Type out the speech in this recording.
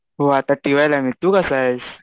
हो आता T Y ला आहे मी. तु कसा आहेस?